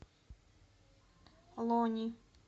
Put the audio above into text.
лони